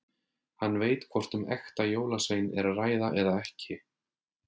Hann veit hvort um ekta jólasvein er að ræða eða ekki.